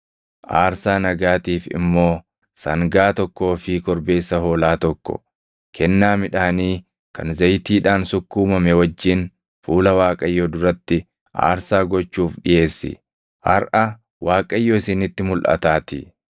aarsaa nagaatiif immoo sangaa tokkoo fi korbeessa hoolaa tokko, kennaa midhaanii kan zayitiidhaan sukkuumame wajjin fuula Waaqayyoo duratti aarsaa gochuuf dhiʼeessi. Harʼa Waaqayyo isinitti mulʼataatii.’ ”